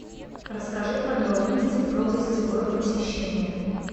расскажи подробности про гостевое посещение